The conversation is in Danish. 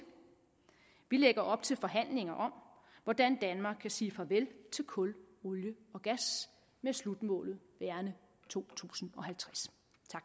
vi lægger op til forhandlinger om hvordan danmark kan sige farvel til kul olie og gas med slutmålet værende to tusind og halvtreds